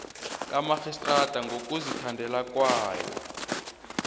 kamarhistrada ngokuzithandela kwayo